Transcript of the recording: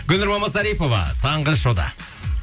гүлнұр мамасарипова таңғы шоуда